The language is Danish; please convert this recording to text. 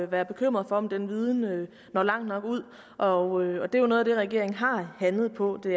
være bekymret for om den viden når langt nok ud og det er noget af det regeringen har handlet på det